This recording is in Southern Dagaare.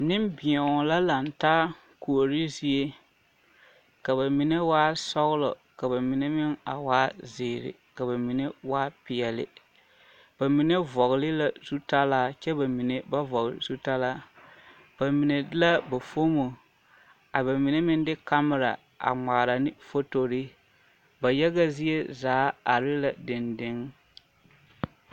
Nembeɛo la laŋ taa kuore zie ka ba mine waa sɔglɔ ka ba mine meŋ a waa zeere ka ba mine waa peɛli ba mine vɔgli la zutalaɛ ba mine meŋ ba vɔgle zutalaa ba mine de la ba foomo a ba mine meŋ de ba kamera a ŋmaara ne fotorii ba yaga zie zaa are la deŋdeŋ.